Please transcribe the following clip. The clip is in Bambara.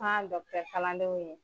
An kalandenw.